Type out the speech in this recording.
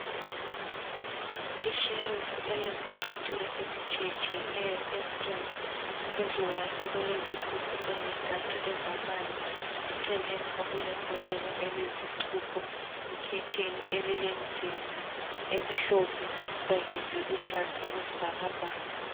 Ishelufu elezicathulo ezitshiyetshiyeneyo ensundu. Phezu kwayo okulezigubhu ezintathu ezamanzi eceleni okulembodlea elezixubho, ikhetheni elilemizila emhlophe kanye leluhlaza okwesibhakabhaka.